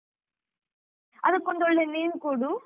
ಅದ್ಕೊಂದ್ ಒಳ್ಳೆ name ಕೊಡು.